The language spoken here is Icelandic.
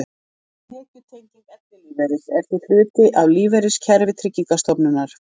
Tekjutenging ellilífeyris er því hluti af lífeyriskerfi Tryggingarstofnunar.